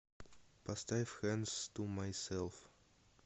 поставь хэндс ту майсэлф